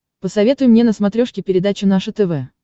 посоветуй мне на смотрешке передачу наше тв